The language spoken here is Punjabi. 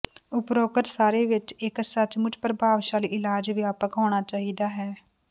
ਉਪਰੋਕਤ ਸਾਰੇ ਵਿੱਚ ਇੱਕ ਸੱਚਮੁੱਚ ਪ੍ਰਭਾਵਸ਼ਾਲੀ ਇਲਾਜ ਵਿਆਪਕ ਹੋਣਾ ਚਾਹੀਦਾ ਹੈ